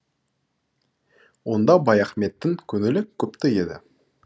онда баяхметтің көңілі күпті еді